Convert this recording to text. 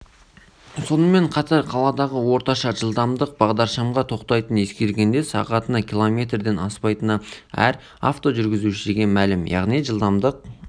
сонымен қатар қаладағы орташа жылдамдық бағдаршамға тоқтайтынын ескергенде сағатына километрден аспайтыны әр автожүргізушіге мәлім яғни жылдамдық